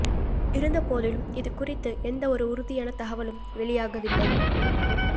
இருந்த போதிலும் இது குறித்து எந்த ஒரு உறுதியான தகவலும் வெளியாகவில்லை